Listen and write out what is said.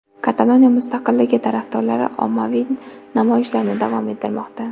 Kataloniya mustaqilligi tarafdorlari ommaviy namoyishlarni davom ettirmoqda.